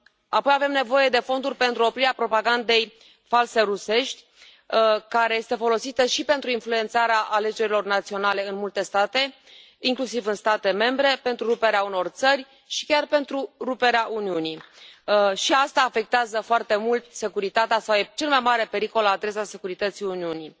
Apoi, avem nevoie de fonduri pentru oprirea propagandei false rusești, care este folosită și pentru influențarea alegerilor naționale în multe state, inclusiv în state membre, pentru ruperea unor țări și chiar pentru ruperea Uniunii. Și asta afectează foarte mult securitatea e cel mai mare pericol la adresa securității Uniunii.